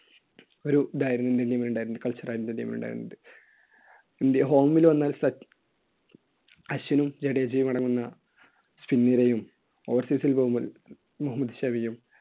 ഒരു ഇതായിരുന്നു indian team ന് ണ്ടായിരുന്നത്. culture ആയിരുന്നു indian team നുണ്ടായിരുന്നത്. ഇന്ത്യ home ൽ വന്നാൽ സച്ച്~ സച്ചിനും ജഡേജയും അടങ്ങുന്ന പിൻനിരയും overseas ൽ പോകുമ്പോൾ